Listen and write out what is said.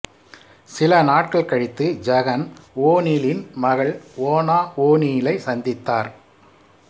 சில நாட்கள் கழித்து ஐகன் ஓநீலின் மகள் ஓனா ஓநீலை சந்தித்தார்